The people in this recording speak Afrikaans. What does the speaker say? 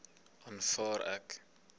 aanvaar ek